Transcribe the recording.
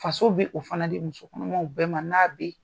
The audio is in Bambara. Faso bɛ o fana di musokɔnɔmaw bɛɛ ma n'a bɛ yen.